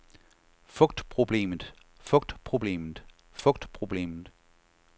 fugtproblemet fugtproblemet fugtproblemet